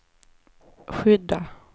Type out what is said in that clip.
skydda